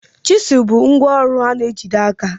Chizụl bụ ngwa ọrụ a na-ejide n'aka